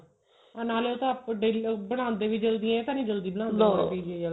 ਹਾਂ ਨਾਲੇ ਉਹ ਤਾਂ ਬਣਾਦੇ ਵੀ ਜਲਦੀ ਨੇ ਇਹ ਤਾਂ ਨਹੀਂ ਜਲਦੀ ਬਣਾਦੇ PGI ਆਲੇ